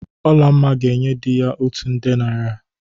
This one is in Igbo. Olamma ga-enye di ya otu nde naịra.